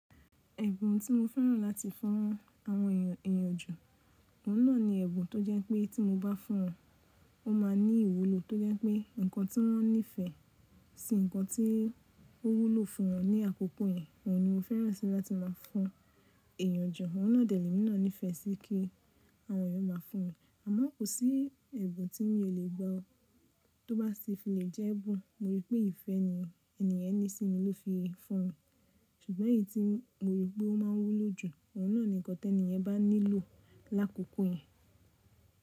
Ẹ̀bùn tí mo fẹ́ràn láti fún àwọn ènìyàn èèyàn jù, òun náà ni ẹ̀bùn tó jẹ́ pé tí mo bá fún òun, ó máa ní ìwúlò tó jẹ́ pé nǹkan tí wọ́n nífẹ̀ẹ́ sí, nǹkan tí ó wúlò fún wọn ní àkọ́kọ́ yẹn, òun ni mo fẹ́ràn síi láti má a fún èèyàn jù. Òun náà dẹ̀ lé mi náà nífẹ̀ẹ́ síi kí àwọn ènìyàn má a fún mi. Àma kò sí ẹ̀bùn tí mí ò lè gbà ó tó bá ṣe fi lè jẹ́ ẹ̀bùn. Mo rí pé ìfẹ́ ni ènìyàn ní sí mi ló fi ń fún mi. Ṣùgbọ́n èyí tí mo rí pé ó má n wúlò jù, òun náà ni nǹkan tẹni yẹn bá nílò lákòókò yẹn.